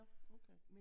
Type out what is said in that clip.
Nåh okay